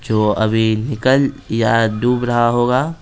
जो अभी निकल या डूब रहा होगा।